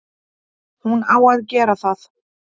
Hún á að gera það.